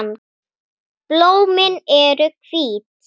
Blómin eru hvít.